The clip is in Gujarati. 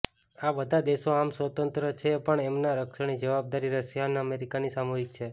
આ બધા દેશો આમ સ્વતંત્ર છે પણ એમના રક્ષણની જવાબદારી રશિયા અને અમેરિકાની સામુહિક છે